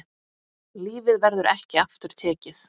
Lífið verður ekki aftur tekið.